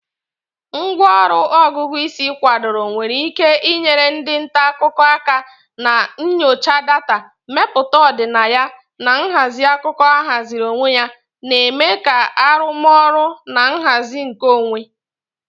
Ngwá ọrụ Ọgụgụ isi kwadoro nwere ike inyere ndị nta akụkọ aka na nyocha data, mmepụta ọdịnaya, na nhazi akụkọ ahaziri onwe ya, na-eme ka arụmọrụ na nhazi nkeonwe.